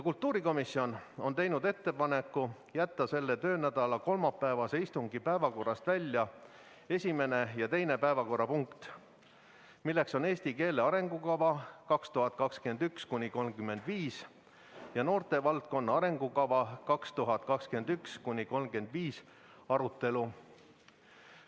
Kultuurikomisjon on teinud ettepaneku jätta selle töönädala kolmapäevase istungi päevakorrast välja esimene ja teine päevakorrapunkt, eesti keele arengukava 2021–2035 ja noortevaldkonna arengukava 2021–2035 arutelu.